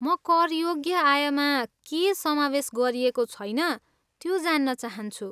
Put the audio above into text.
म करयोग्य आयमा के समावेस गरिएको छैन, त्यो जान्न चाहान्छु।